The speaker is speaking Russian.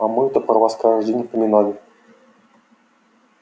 а мы-то про вас каждый день поминали